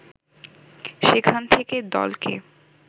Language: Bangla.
সেখান থেকে দলকে